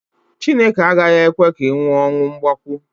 Chineke agaghị ekwe ka ị nwụọ ọnwụ mgbakwo